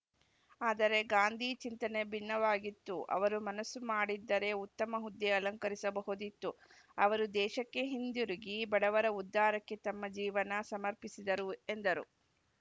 ಆದರೆ ಗಾಂಧಿ ಚಿಂತನೆ ಭಿನ್ನವಾಗಿತ್ತು ಅವರು ಮನಸ್ಸು ಮಾಡಿದ್ದರೆ ಉತ್ತಮ ಹುದ್ದೆ ಅಲಂಕರಿಸಬಹುದಿತ್ತು ಅವರು ದೇಶಕ್ಕೆ ಹಿಂದಿರುಗಿ ಬಡವರ ಉದ್ಧಾರಕ್ಕೆ ತಮ್ಮ ಜೀವನ ಸಮರ್ಪಿಸಿದರು ಎಂದರು